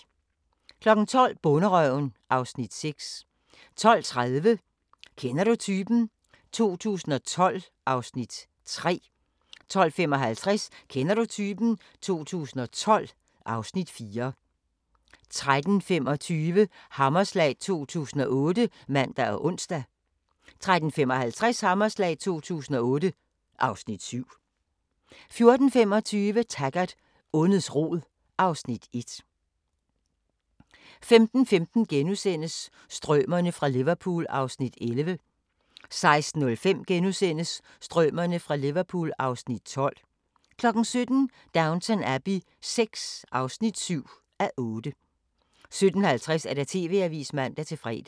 12:00: Bonderøven (Afs. 6) 12:30: Kender du typen? 2012 (Afs. 3) 12:55: Kender du typen? 2012 (Afs. 4) 13:25: Hammerslag 2008 (man og ons) 13:55: Hammerslag 2008 (Afs. 7) 14:25: Taggart: Ondets rod (Afs. 1) 15:15: Strømerne fra Liverpool (Afs. 11)* 16:05: Strømerne fra Liverpool (Afs. 12)* 17:00: Downton Abbey VI (7:8) 17:50: TV-avisen (man-fre)